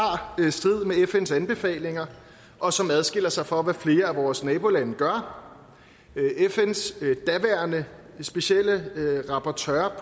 strid med fns anbefalinger og som adskiller sig fra hvad flere af vores nabolande gør fns daværende særlige rapportør